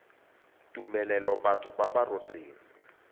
tumelelo batho ba ba rotseng